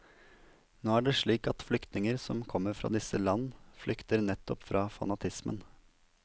Nå er det slik at flyktninger som kommer fra disse land, flykter nettopp fra fanatismen.